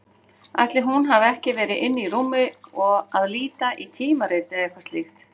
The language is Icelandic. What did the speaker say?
Ætli hún hafi ekki verið inni í rúmi að líta í tímarit eða eitthvað slíkt.